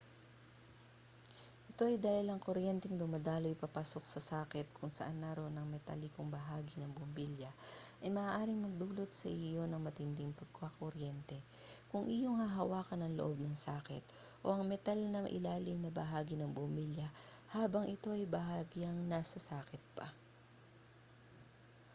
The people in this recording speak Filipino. ito ay dahil ang kuryenteng dumadaloy papasok sa saket kung saan naroon ang metalikong bahagi ng bumbilya ay maaaring magdulot sa iyo ng matinding pagkakuryente kung iyong hahawakan ang loob ng saket o ang metal na ilalim na bahagi ng bumbilya habang ito ay bahagyang nasa saket pa